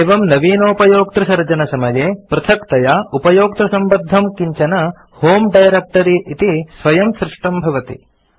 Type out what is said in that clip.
एवं नवीनोपयोक्तृसर्जनसमये पृथक्तया उपयोक्तृसम्बद्धं किञ्चन होमे डायरेक्ट्री इति स्वयं सृष्टं भवति